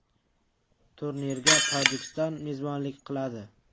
Turnirga Tojikiston mezbonlik qiladi.